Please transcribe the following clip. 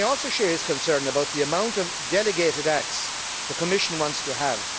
I also share his concern about the quantity of the delegated acts the Commission wants to have.